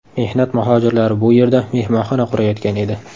Mehnat muhojirlari bu yerda mehmonxona qurayotgan edi.